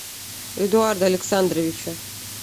эдуарда александровича